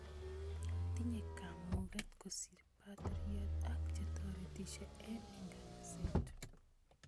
Tinye kaamuuket kosiir batiriot ak chetoreetisye eng nkanaset